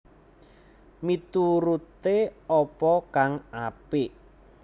Mituruté apa kang apik